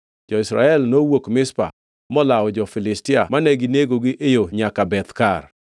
Jo-Israel nowuok Mizpa molawo jo-Filistia ma ginegogi e yo nyaka Beth-Kar.